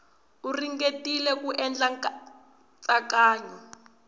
u ringetile ku endla nkatsakanyo